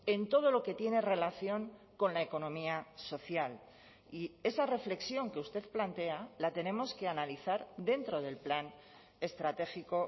en todo lo que tiene relación con la economía social y esa reflexión que usted plantea la tenemos que analizar dentro del plan estratégico